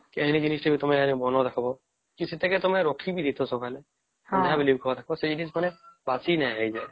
କେନିକି ଜିନିଷ ଟା ତମେ ବନେଇବା ଦେଖିବା ଯଦି ତମେ ରଖି ବି ଦେଇଥିବା ସକାଳେ ସନ୍ଧ୍ୟା ବେଳେ ବି ଜକରିବା ସେଇ ଜିନୀସହ ମାନେ ବାସି ନାଇଁ ହେଇଜାନ